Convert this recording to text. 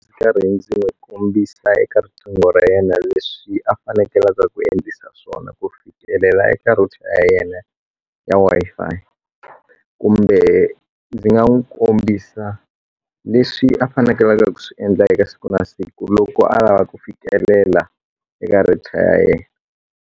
Ndzi karhi ndzi kombisa eka riqingho ra yena leswi a fanekelaka ku endlisa swona ku fikelela eka router ya yena ya Wi-Fi kumbe ndzi nga n'wi kombisa leswi a fanekelele ku swi endla eka siku na siku loko a lava ku fikelela eka router ya ye.